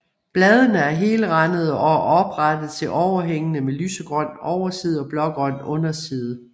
Bladene er helrandede og oprette til overhængende med lysegrøn overside og blågrøn underside